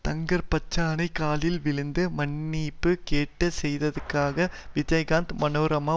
தங்கர்பச்சானை காலில் விழுந்து மன்னிப்பு கேட்க செய்ததற்காக விஜயகாந்த் மனோரமா